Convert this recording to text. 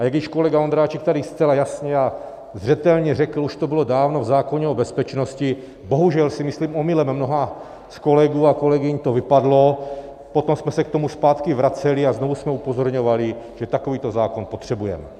A jak již kolega Ondráček tady zcela jasně a zřetelně řekl, už to bylo dávno v zákoně o bezpečnosti, bohužel si myslím, omylem mnoha z kolegů a kolegyň to vypadlo, potom jsme se k tomu zpátky vraceli a znovu jsme upozorňovali, že takovýto zákon potřebujeme.